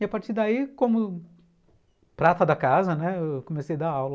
E a partir daí, como prata da casa, eu comecei a dar aula.